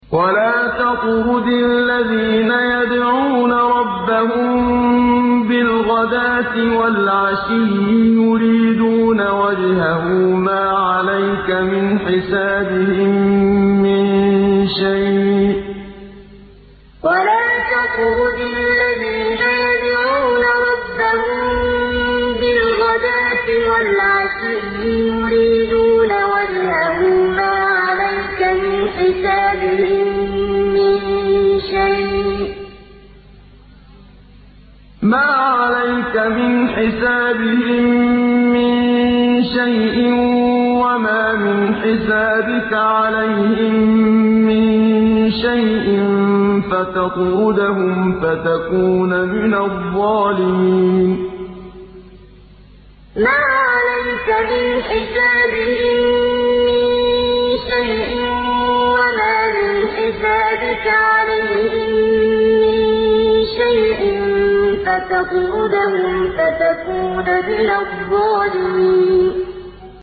وَلَا تَطْرُدِ الَّذِينَ يَدْعُونَ رَبَّهُم بِالْغَدَاةِ وَالْعَشِيِّ يُرِيدُونَ وَجْهَهُ ۖ مَا عَلَيْكَ مِنْ حِسَابِهِم مِّن شَيْءٍ وَمَا مِنْ حِسَابِكَ عَلَيْهِم مِّن شَيْءٍ فَتَطْرُدَهُمْ فَتَكُونَ مِنَ الظَّالِمِينَ وَلَا تَطْرُدِ الَّذِينَ يَدْعُونَ رَبَّهُم بِالْغَدَاةِ وَالْعَشِيِّ يُرِيدُونَ وَجْهَهُ ۖ مَا عَلَيْكَ مِنْ حِسَابِهِم مِّن شَيْءٍ وَمَا مِنْ حِسَابِكَ عَلَيْهِم مِّن شَيْءٍ فَتَطْرُدَهُمْ فَتَكُونَ مِنَ الظَّالِمِينَ